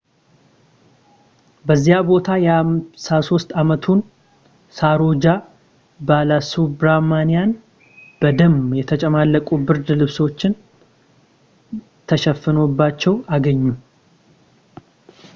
በዚያ ቦታ የ53 ዓመቱን ሳሮጃ ባላሱብራማኒያን በደም የተጨማለቁ ብርድ ልብሶች ተሸፍኖባቸው አገኙ